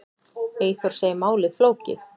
Eyþór segir málið flókið.